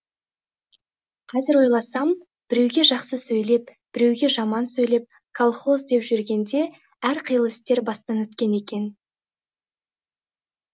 қазір ойласам біреуге жақсы сөйлеп біреуге жаман сөйлеп колхоз деп жүргенде әр қилы істер бастан өткен екен